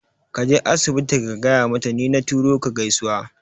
Kaje asibiti ka gaya mata ni na turo ka gaisuwa